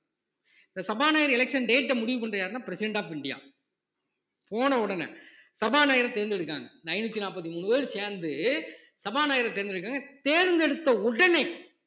இந்த சபாநாயகர் election date அ முடிவு பண்றது யாருன்னா president of இந்தியா போன உடனே சபாநாயகரை தேர்ந்தெடுக்காங்க இந்த ஐந்நூத்தி நாற்பத்தி மூணு பேர் சேர்ந்து சபாநாயகரை தேர்ந்தெடுக்கிறாங்க தேர்ந்தெடுத்த உடனே